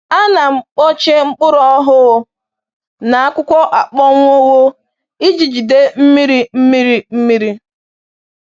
A na m kpuchie mkpụrụ ọhụụ na akwụkwọ akpọnwụwo iji jide mmiri mmiri mmiri